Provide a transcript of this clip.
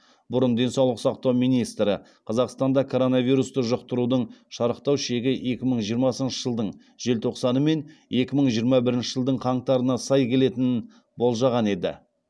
бұрын денсаулық сақтау министрі қазақстанда коронавирусты жұқтырудың шарықтау шегі екі мың жиырмасыншы жылдың желтоқсаны мен екі мың жиырма бірінші жылдың қаңтарына сай келетінін болжаған еді